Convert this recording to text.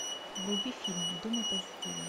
вруби фильм думай позитивно